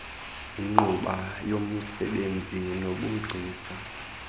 yinkqubo yomsebenzi nobugcisa